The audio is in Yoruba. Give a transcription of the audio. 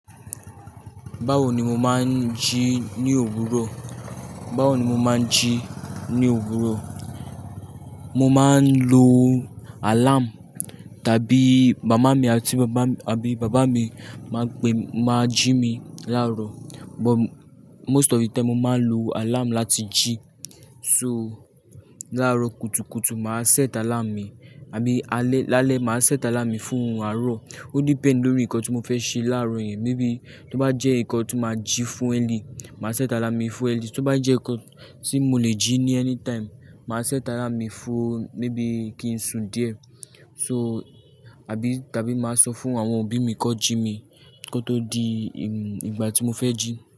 Báwo ni mo máa ń jí ní òwúrò? Báwo ni mo máa ń jí ní òwúrò? Mo máa ń lo alarm tàbí mama mi àti bàbá mi, àbí bàbá mi máa gbe-- máa jí mi láàárọ̀. But most of the time, mo máa ń lo alarm láti jí. So, láàárọ̀ kùtùkùtù, màá set alarm mi, àbí alẹ́, lálẹ́, màá set alarm mi fún àárọ̀. Ó depend lórí nǹkan tí mo fẹ́ ṣe láàárọ̀ yẹn. Mébìí tó bá jẹ́ nǹkan tí mo máa jí fún early, màá set alarm mi fún early. Tó bá jẹ́ nǹkan tí mo lè jí ní anytime, màá set alarm mi fún mébìí kí n su díẹ̀. So, àbí tàbí màá sọ fún àwọn òbí mi kó jí mi kó tó di, hmm, ìgbà tí mo fẹ́ jí.